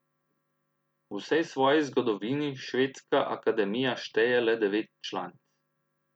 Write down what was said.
V vsej svoji zgodovini Švedska akademija šteje le devet članic.